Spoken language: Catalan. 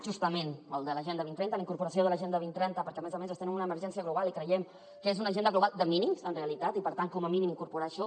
justament el de l’agenda dos mil trenta la incorporació de l’agenda dos mil trenta perquè a més a més estem en una emergència global i creiem que és una agenda global de mínims en realitat i per tant com a mínim incorporar hi això